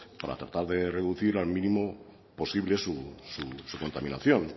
para tratar de reducir al mínimo posible su contaminación